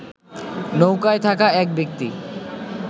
নৌকায় থাকা এক ব্যক্তি